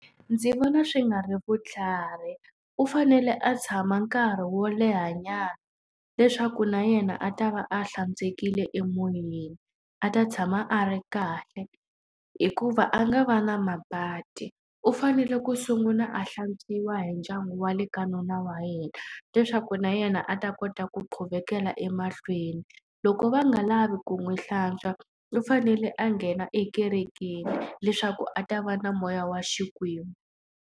Ndzi vona swi nga ri vutlhari. U fanele a tshama nkarhi wo lehanyana leswaku na yena a ta va a hlantswekele emoyeni, a ta tshama a ri kahle hikuva a nga va na mabadi. U fanele ku sungula a hlantswiwa hi ndyangu wa le ka nuna wa yena, leswaku na yena a ta kota ku quvekela emahlweni. Loko va nga lavi ku n'wi hlantswa, u fanele a nghena ekerekeni leswaku a ta va na moya wa Xikwembu.